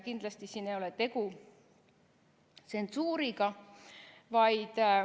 Kindlasti ei ole tegu tsensuuriga.